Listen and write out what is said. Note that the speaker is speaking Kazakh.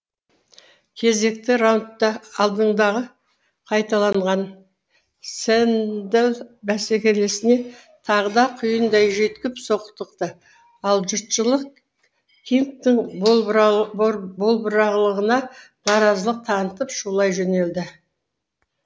кезекті раунд та алдыңғыны қайталаған сэндл бәсекелесіне тағы да құйындай жүйткіп соқтықты ал жұртшылық кингтің болбырлығына наразылық танытып шулай жөнелді